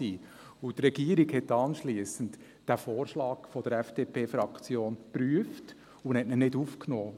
Die Regierung hat anschliessend den Vorschlag der FDP-Fraktion geprüft und hat ihn nicht aufgenommen.